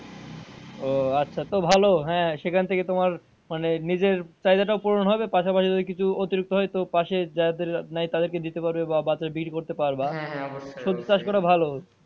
ও আচ্ছা তো ভালো হ্যাঁ সেখান থেকে তোমার মানে নিজের চাহিদা টাও পুরন হবে পাশাপাশি ওই কিছু অতিরিক্ত হয় তো পাশে যাদের নাই তাদের কে দিতে পারবে বা বিক্রি করতে পারবা, সবজি চাষ করা ভালো।